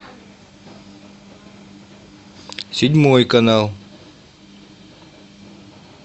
седьмой канал